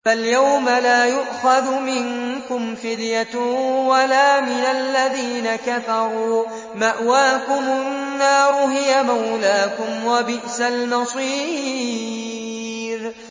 فَالْيَوْمَ لَا يُؤْخَذُ مِنكُمْ فِدْيَةٌ وَلَا مِنَ الَّذِينَ كَفَرُوا ۚ مَأْوَاكُمُ النَّارُ ۖ هِيَ مَوْلَاكُمْ ۖ وَبِئْسَ الْمَصِيرُ